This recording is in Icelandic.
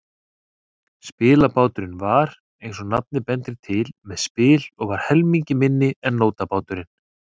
Spilbáturinn var, eins og nafnið bendir til, með spil og var helmingi minni en nótabáturinn.